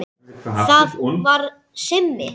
Það var Simmi.